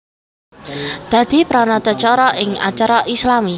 Dadi pranatacara ing acara islami